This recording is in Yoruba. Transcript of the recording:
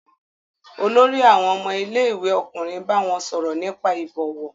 Olórí àwọn ọmọ ilé-ìwé ọkùnrin bá wọn sọ̀rọ̀ nípa ìbọ̀wọ̀?